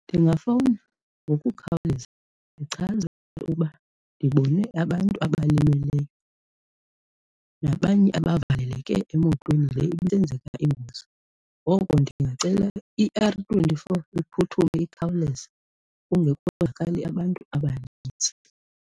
Ndingafowuna ngokukhawuleza ndichaze ukuba ndibone abantu abalimeleyo nabanye abavaleleke emotweni le ibisenzeka ingozi ngoko ndingacela i-R twenty-four iphuthume ikhawuleze kungekonzakali abantu abaninzi.